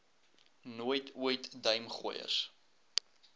nooit ooit duimgooiers